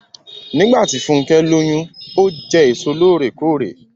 Nígbàtí Funkẹ lóyún, o jẹ èso lóòrèkóòrè.